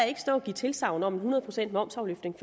ikke stå og give tilsagn om en hundrede pcts momsafløftning